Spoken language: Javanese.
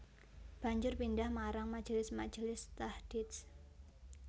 Banjur pindhah marang majelis majelis tahdits